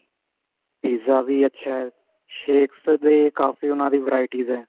pizza ਵੀ ਅੱਛਾ shakes ਦੇ ਕਾਫੀ ਉਹਨਾ ਦੀ varieties ਨੇ